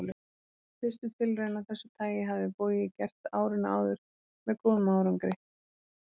Fyrstu tilraun af þessu tagi hafði Bogi gert árinu áður með góðum árangri.